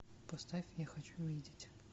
поставь я хочу видеть